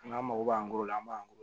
An ka mago b'an bolo an b'an bolo